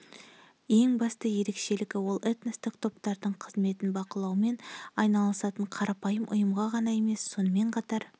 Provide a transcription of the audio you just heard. ең басты ерекшелігі ол этностық топтардың қызметін бақылаумен айналысатын қарапайым ұйымға ғана емес сонымен қатар